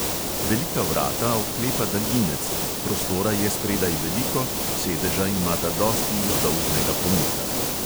Velika vrata odklepa daljinec, prostora je spredaj veliko, sedeža imata dosti vzdolžnega pomika.